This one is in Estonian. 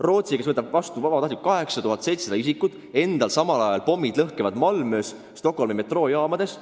Rootsi võtab vabatahtlikult vastu 8700 inimest, endal samal ajal pommid lõhkevad Malmös ja Stockholmi metroojaamades.